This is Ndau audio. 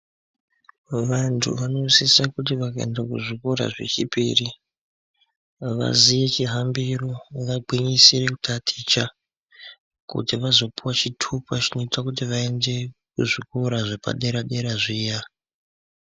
Vantu vonosisa kuti vakaenda kuzvikora zvechipiri vaziye chihambiro vagwinyisire kutaticha kuti vazopuwa chitupa chinoita kuti vaende kuzvikora zvepadera dera zviya.